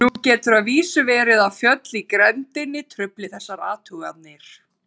Nú getur að vísu verið að fjöll í grenndinni trufli þessar athuganir.